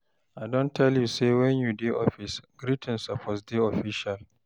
I don tell you sey wen you dey office, greeting suppose dey official.